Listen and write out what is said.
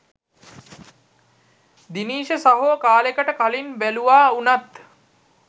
දිනීෂ සහෝ කාලෙකට කලින් බැලුවා වුනත්